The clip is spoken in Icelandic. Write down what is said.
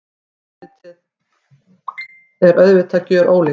Andlitið er auðvitað gjörólíkt.